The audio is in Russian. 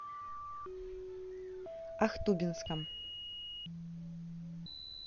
ахтубинском